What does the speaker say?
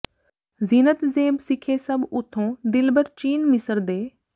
ਜ਼ੀਨਤ ਜ਼ੇਬ ਸਿੱਖੇ ਸਭ ਉਥੋਂ ਦਿਲਬਰ ਚੀਨ ਮਿਸਰ ਦੇ